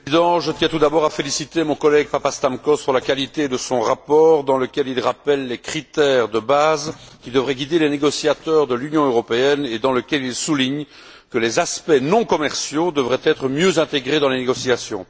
Monsieur le Président, je tiens tout d'abord à féliciter mon collègue Papastamkos pour la qualité de son rapport, dans lequel il rappelle les critères de base qui devraient guider les négociateurs de l'Union européenne, et dans lequel il souligne que les aspects non commerciaux devraient être mieux intégrés dans les négociations.